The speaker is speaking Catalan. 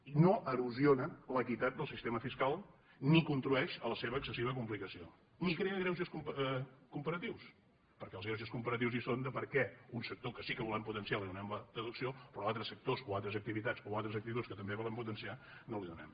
i no erosiona l’equitat del sistema fiscal ni contribueix a la seva excessiva complicació ni crea greuges comparatius perquè els greuges com·paratius hi són de per què a un sector que sí que volem potenciar li donem la deducció però a altres sectors o a altres activitats o a altres actituds que també volem potenciar no els la donem